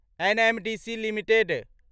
NMDC limited